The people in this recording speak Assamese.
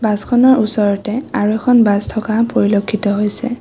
বাছখনৰ ওচৰতে আৰু এখন বাছ থকা পৰিলক্ষিত হৈছে।